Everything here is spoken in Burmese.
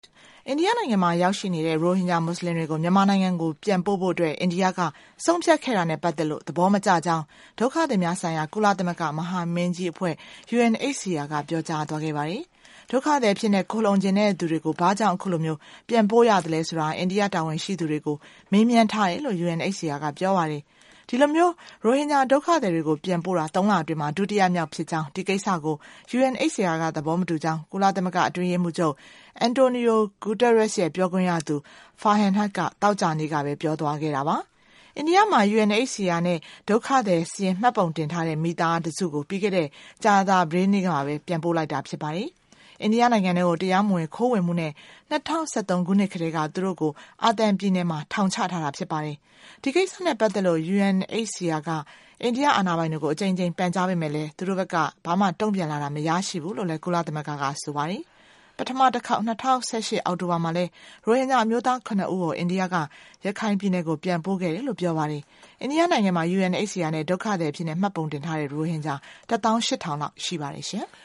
အိန္ဒိယနိုင်ငံမှာရောက်ရှိနေတဲ့ ရိုဟင်ဂျာမွတ်ဆလင်တွေကို မြန်မာနိုင်ငံကို ပြန်ပို့ဖို့အတွက် အိန္ဒိယက ဆုံးဖြတ်ခဲ့ တာနဲ့ပတ်သက်လို့ သဘောမကျကြောင်း ဒုက္ခသည်များဆိုင်ရာ ကုလသမဂ္ဂမဟာမင်းကြီးအဖွဲ့ UNHCR က ပြောကြားသွားခဲ့ပါတယ်။ ဒုက္ခသည်အဖြစ်နဲ့ ခိုလှုံချင်တဲ့သူတွေကို ဘာကြောင့် အခုလို ပြန်ပို့ရသလဲဆိုတာ အိန္ဒိယတာဝန်ရှိသူတွေကို မေးမြန်းထားတယ်လို့ UNHCR က ပြောပါတယ်။ ဒီလိုမျိုး ရိုဟင်ဂျာဒုက္ခသည်တွေကို ပြန်ပို့တာ သုံးလအတွင်းမှာ ဒုတိယမြောက်ဖြစ်ကြောင်း၊ ဒီကိစ္စကို UNHCR က သဘောမတူကြောင်း ကုလသမဂ္ဂအတွင်းရေးမှူးချုပ် အန်တိုနီယို ဂူတားရက်စ်ရဲ့ပြောခွင့်ရသူ ဖာဟင်ဟိုက်က သောကြာနေ့ကပဲ ပြောသွားခဲ့တာပါ။ အိန္ဒိယမှာ UNHCR နဲ့ ဒုက္ခသည်စာရင်း မှတ်ပုံတင်ထားတဲ့မိသားတစုကို ပြီးခဲ့တဲ့ ကြာသပတေးနေ့ကပဲ ပြန်ပို့လိုက်တာ ဖြစ်ပါတယ်။ အိန္ဒိယနိုင်ငံထဲကို တရားမဝင် ခိုးဝင်မှုနဲ့ ၂၀၁၃ ခုနှစ်ကတည်းက သူတို့ကို အာသံပြည်နယ်မှာ ထောင်ချထားတာဖြစ်ပါတယ်။ ဒီကိစ္စနဲ့ပတ်သက်လို့ UNHCR က အိန္ဒိယအာဏာပိုင်တွေကို အကြိမ်ကြိမ် ပန်ကြားပေမယ့်လည်း သူတို့ဘက်က ဘာမှ တုံ့ပြန်လာတာ မရရှိဘူးလို့လည်း ကုလသမဂ္ဂက ဆိုပါတယ်။ ပထမတခေါက် ၂၀၁၈ အောက်တိုဘာမှာလည်း ရိုဟင်ဂျာအမျိုးသား ခုနစ်ဦးကို အိန္ဒိယက ရခိုင်ပြည်နယ်ကို ပြန်ပို့ခဲ့တယ်လို့ ပြောပါတယ်။ အိန္ဒိယနိုင်ငံမှာ UNHCR မှာ ဒုက္ခသည်အဖြစ်နဲ့ မှတ်ပုံတင်ထားတဲ့ ရိုဟင်ဂျာ ၁၈၀၀၀ လောက် ရှိပါတယ်ရှင်။